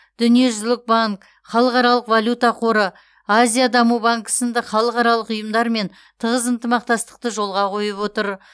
дүниежүзілік банк халықаралық валюта қоры азия даму банкі сынды халықаралық ұйымдармен тығыз ынтымақтастықты жолға қойып отыр